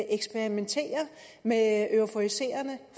eksperimenterer med euforiserende